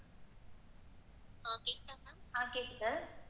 ஆஹ் கேக்குது.